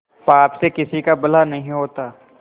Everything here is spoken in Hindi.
पाप से किसी का भला नहीं होता